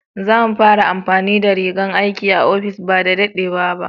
Za mu fara amfani da rigan aiki a ofis ba da daɗewa ba.